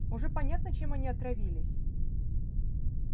уже понятно чем они отравились